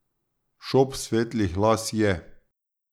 Šop svetlih las je.